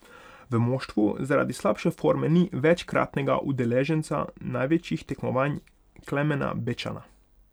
V moštvu zaradi slabše forme ni večkratnega udeleženca največjih tekmovanj Klemena Bečana.